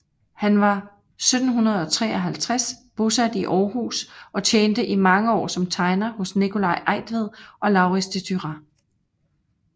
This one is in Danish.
Han var 1753 bosat i Århus og tjente i mange år som tegner hos Nicolai Eigtved og Laurids de Thurah